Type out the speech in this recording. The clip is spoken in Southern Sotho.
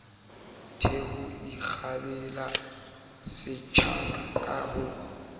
theho ikgapela setjwaba ka ho